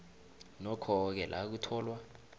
nokhoke la kutholwa